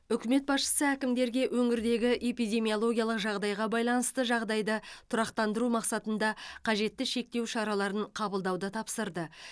үкімет басшысы әкімдерге өңірдегі эпидемиологиялық жағдайға байланысты жағдайды тұрақтандыру мақсатында қажетті шектеу шараларын қабылдауды тапсырды